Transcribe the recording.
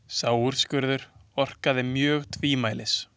Sá úrskurður orkaði mjög tvímælis.